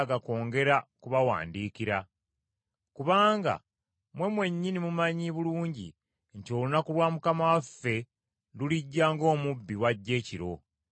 Kubanga mmwe mwennyini mumanyi bulungi nti olunaku lwa Mukama waffe lulijja ng’omubbi bw’ajja ekiro.